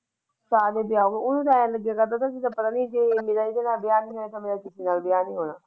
ਵਿਆਹ ਨਹੀਂ ਹੋਇਆ ਜਿਹਨਾਂ ਲੇਟ ਹੋਏ ਉਹਨਾਂ ਹੀ ਵਧੀਆ ਮੈਂ ਕਹਿਆ।